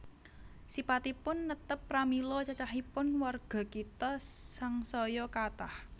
Sipatipun netep pramila cacahipun warga kitha sangsaya kathah